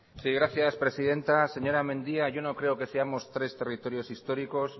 sí gracias presidenta señora mendia yo no creo que seamos tres territorios históricos